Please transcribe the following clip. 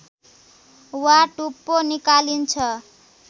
वा टुप्पो निकालिन्छ